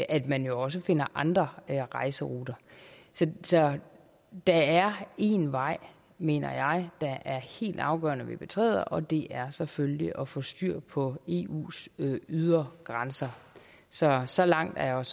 at man også finder andre rejseruter så der er én vej mener jeg det er helt afgørende at vi betræder og det er selvfølgelig at få styr på eus ydre grænser så så langt er jeg